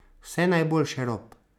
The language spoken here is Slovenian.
Vse najboljše, Rob.